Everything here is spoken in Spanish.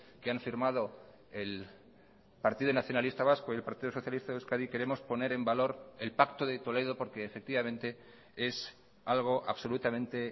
que han firmado el partido nacionalista vasco y el partido socialista de euskadi queremos poner en valor el pacto de toledo porque efectivamente es algo absolutamente